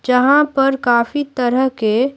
जहां पर काफी तरह के--